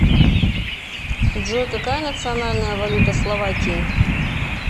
джой какая национальная валюта словакии